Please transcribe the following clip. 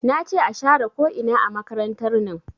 Nace a share ko ina a makarantar nan